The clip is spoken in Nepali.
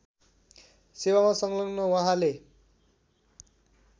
सेवामा संलग्न उहाँले